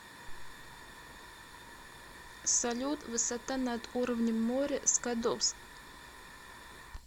салют высота над уровнем моря скадовск